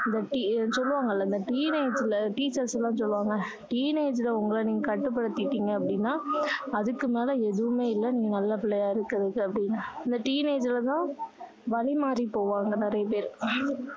இந்த சொல்லுவாங்கல்ல இந்த teenage ல teachers லாம் சொல்லுவாங்க teenage ல உங்கள் நீங்க கட்டு படுத்திக்கிட்டீங்க அப்படின்னா அதுக்கு மேல எதுவுமே இல்ல நீ நல்ல பிள்ளையா இருக்கிறதுக்கு அப்படின்னு இந்த teenage ல தான் வழி மாறி போவாங்க நிறைய பேரு